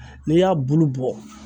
N'e y'a bulu bɔ